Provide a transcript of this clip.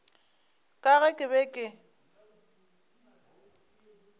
ka ge ke be ke